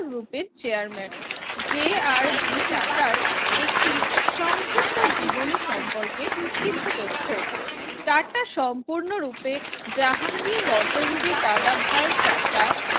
Group এর Chairman J R D টাটার একটি সংক্ষিপ্ত জীবনী সম্পর্কে কিছু তথ্য যারটা সম্পূর্ণরূপে জাহাঙ্গীর রতঞ্জলি দাদাভাই টাটা